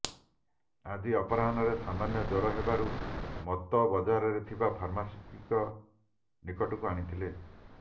ଆଜି ଅପରାହ୍ନରେ ସାମନ୍ୟ ଜ୍ବର େହବାରୁ ମତୋ ବଜାରରେ ଥିବା ଫାର୍ମାସିଷ୍ଟଙ୍କ ନିକଟକୁ ଆଣିଥିଲେ